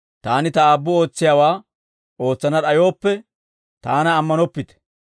Taani Ta Aabbu ootsiyaawaa ootsana d'ayooppe, Taana ammanoppite.